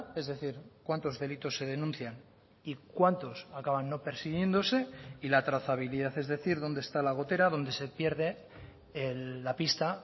es decir cuántos delitos se denuncian y cuántos acaban no persiguiéndose y la trazabilidad es decir dónde está la gotera dónde se pierde la pista